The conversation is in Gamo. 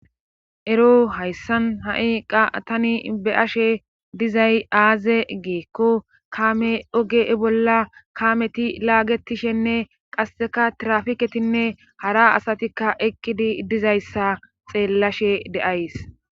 ero hayssan ha7i qatani beyashe dizay aaze-geekko kaame oge bolla kaameti laagetishenne qasseka trafiketinne hara asatikka ekkidi dizayssa xeellashe deays